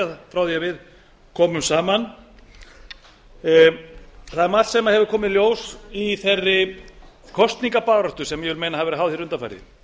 frá því að við komum saman það er margt sem hefur komið í ljós í þeirri kosningabaráttu sem ég vil meina að hafi verið háð undanfarið